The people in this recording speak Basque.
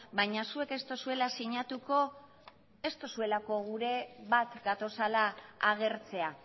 baina zuek ez duzuela sinatuko ez duzuelako gure bat gatozela agertzea